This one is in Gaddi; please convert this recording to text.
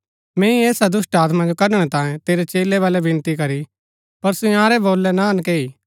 मैंई ऐसा दुष्‍टात्मा जो कढणै तांयें तेरै चेलै वलै विनती करी पर सो इन्यारै वोलै ना नेकैई